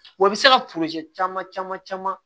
Wa i bɛ se ka caman caman caman